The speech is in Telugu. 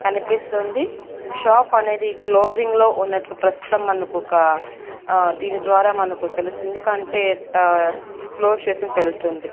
కనిపిస్తుంది షాప్ అనేది క్లోజింగ్ లో ఉన్నట్లు ప్రస్తుతం మనకొక ఆ దీని ద్వారా మనకు తెలుస్తుంది కంటే ఆ క్లోజ్ చేసింది తెలుస్తుంది.